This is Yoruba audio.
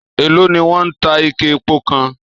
Èló ni wọ́n ń ta ike epo kan?